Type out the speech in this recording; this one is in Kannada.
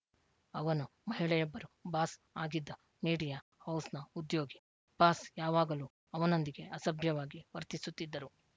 ಅವನು ಮಹಿಳೆಯೊಬ್ಬರು ಬಾಸ್‌ ಆಗಿದ್ದ ಮೀಡಿಯಾ ಹೌಸ್‌ನ ಉದ್ಯೋಗಿ ಬಾಸ್‌ ಯಾವಾಗಲೂ ಅವನೊಂದಿಗೆ ಅಸಭ್ಯವಾಗಿ ವರ್ತಿಸುತ್ತಿದ್ದರು